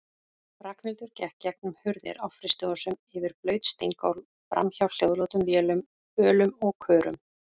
Ragnhildur gekk gegnum hurðir á frystihúsum, yfir blaut steingólf, framhjá hljóðlátum vélum, bölum og körum.